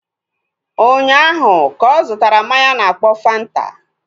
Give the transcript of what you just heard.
Ụnyaahụ ka ọ zụtara mmanya a na-akpọ Fanta